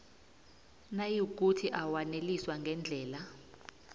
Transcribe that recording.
nayikuthi awaneliswa ngendlela